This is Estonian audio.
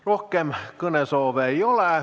Rohkem kõnesoove ei ole.